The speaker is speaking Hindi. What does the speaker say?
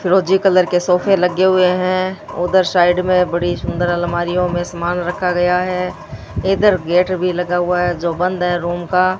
फ़िरोजी कलर के सोफे लगे हुए हैं उधर साइड में बड़ी सुंदर अलमारियों में सामान रखा गया है इधर गेट भी लगा हुआ है जो बंद है रूम का।